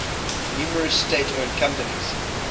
numerous state owned companies